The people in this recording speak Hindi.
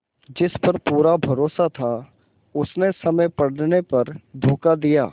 जिस पर पूरा भरोसा था उसने समय पड़ने पर धोखा दिया